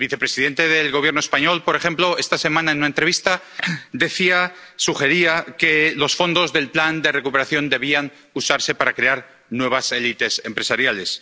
El vicepresidente del Gobierno español, por ejemplo, esta semana, en una entrevista, sugería que los fondos del Plan de Recuperación debían usarse para crear nuevas élites empresariales.